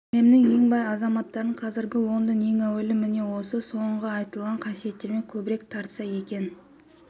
әлемнің ең бай азаматтарын қазіргі лондон ең әуелі міне осы соңғы айтылған қасиетімен көбірек тартса керек